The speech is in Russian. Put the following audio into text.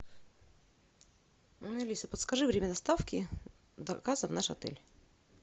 алиса подскажи время доставки заказа в наш отель